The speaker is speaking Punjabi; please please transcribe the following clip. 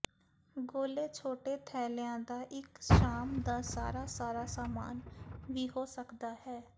ਗੋਲੇ ਛੋਟੇ ਥੈਲਿਆਂ ਦਾ ਇਕ ਸ਼ਾਮ ਦਾ ਸਾਰਾ ਸਾਰਾ ਸਮਾਨ ਵੀ ਹੋ ਸਕਦਾ ਹੈ